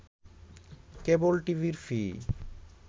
কেবল টিভির ফি